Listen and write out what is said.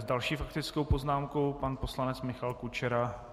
S další faktickou poznámkou pan poslanec Michal Kučera.